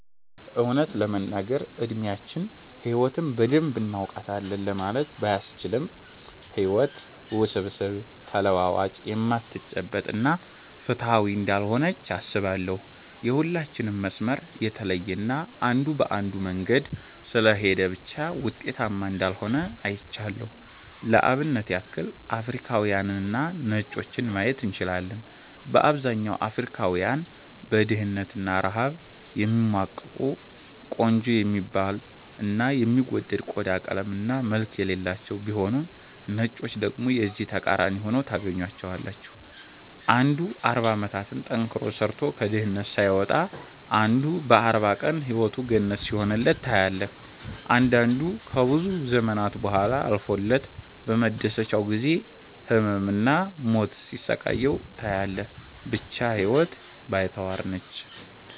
እውነት ለመናገር እድሚያችን ህይወትን በደንብ እናውቃታለን ለማለት ባያስችልም ህይወት ውስብስብ፣ ተለዋዋጭ፣ የማትጨበጥ እና ፍትሃዊ እንዳልሆነች አስባለው። የሁላችንም መስመር የተለየ እና አንዱ በአንዱ መንገድ ስለሄደ ብቻ ውጤታማ እንዳልሆነ አይቻለው። ለአብነት ያክል አፍሪካውያንንና ነጮችን ማየት እንችላለን። በአብዛኛው አፍሪካውያን በድህነት እና ረሃብ የሚማቅቁ፤ ቆንጆ የሚባል እና የሚወደድ ቆዳ ቀለም እና መልክ የሌላቸው ቢሆኑም ነጮችን ደግሞ የዚህ ተቃራኒ ሁነው ታገኛቸዋለህ። አንዱ 40 አመታትን ጠንክሮ ሰርቶ ከድህነት ሳይወጣ አንዱ በ 40 ቀን ህይወቱ ገነት ሲሆንለት ታያለህ። አንዳንዱ ከብዙ ዘመናት ቡሃላ አልፎለት በመደሰቻው ጊዜ ህመም እና ሞት ሲያሰቃየው ታያለህ። ብቻ ህይወት ባይተዋር ነች።